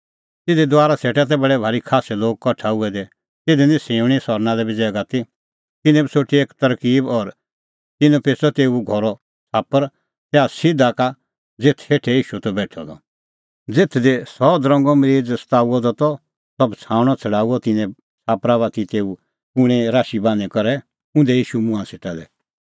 तिधी दुआरा सेटा तै बडै भारी खास्सै लोग कठा हुऐ दै तिधी निं सिऊंणी सहरना लै बी ज़ैगा ती तिन्नैं बी सोठी एक तरकीब और तिन्नैं पेच़अ तेऊ घरो छ़ाप्पर तैहा सिधा का ज़ेथ हेठै ईशू त बेठअ द ज़ेथ दी सह दरंगो मरीज़ सताऊअ द त सह बछ़ाऊणअ छ़ड़ाऊअ तिन्नैं छ़ाप्परा बाती च़ऊ कूणैं राशी बान्हीं करै उंधै ईशूए मुंहां सेटा लै